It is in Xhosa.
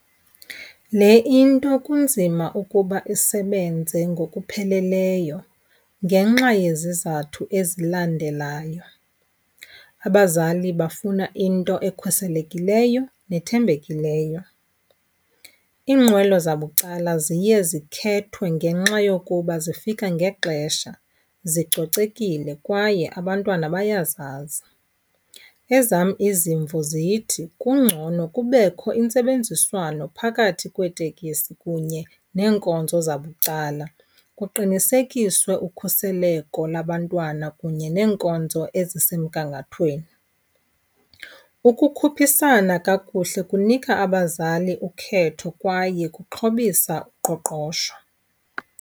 Le into kunzima ukuba isebenze ngokupheleleyo ngenxa yezizathu ezilandelayo. Abazali bafuna into ekhuselekileyo nethembekileyo. Iinqwelo zabucala ziye zikhethwe ngenxa yokuba zifika ngexesha, zicocekile kwaye abantwana bayazazi. Ezam izimvo zithi kungcono kubekho intsebenziswano phakathi kweetekisi kunye neenkonzo zabucala, kuqinisekiswe ukhuseleko labantwana kunye neenkonzo ezisemgangathweni. Ukukhuphisana kakuhle kunika abazali ukhetho kwaye kuxhobisa uqoqosho.